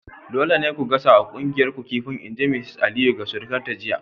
Dole ne ku gasa wa kuyangar ku kifin! in ji Mrs Aliyu ga surukarta jiya!